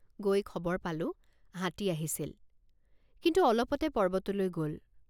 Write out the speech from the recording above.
গৈ খবৰ পালোঁ হাতী আহিছিল কিন্তু অলপতে পৰ্বতলৈ গল।